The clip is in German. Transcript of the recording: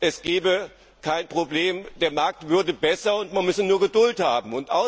es gäbe kein Problem, der Markt würde sich verbessern, man müsse nur Geduld haben.